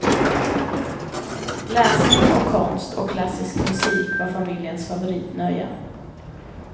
Läsning och konst och klassisk musik var familjens favoritnöjen.